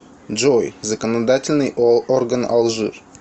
джой законодательный орган алжир